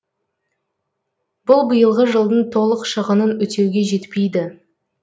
бұл биылғы жылдың толық шығынын өтеуге жетпейді